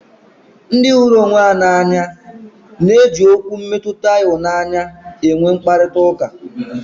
Ndị hụrụ onwe ha n'anya na eji Okwu mmetụta ịhụnanya enwe mkparịta ụka